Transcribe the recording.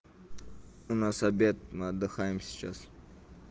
у нас обед мы отдыхаем сейчас